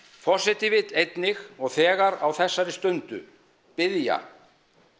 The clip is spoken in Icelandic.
forseti vill einnig og þegar á þessari stundu biðja